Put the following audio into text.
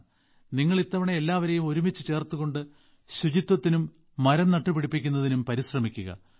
നിങ്ങൾ ഇത്തവണ എല്ലാവരേയും ഒരുമിച്ച് ചേർത്തുകൊണ്ട് ശുചിത്വത്തിനും മരം നട്ട് പിടിപ്പിക്കുന്നതിനും പരിശ്രമിക്കുക